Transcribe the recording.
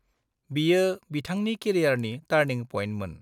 बियो बिथांनि केरियारनि टार्निं पइन्टमोन।